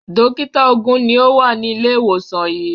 Dọ́kítá ogún ni ó wà ní ilé-ìwòsàn yìí.